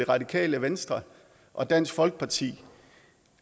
radikale venstre og dansk folkeparti